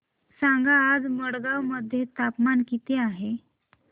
सांगा आज मडगाव मध्ये तापमान किती आहे